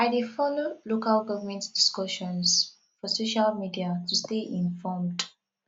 i dey follow local government discussions for social media to stay informed